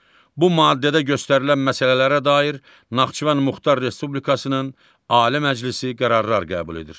Bu maddədə göstərilən məsələlərə dair Naxçıvan Muxtar Respublikasının Ali Məclisi qərarlar qəbul edir.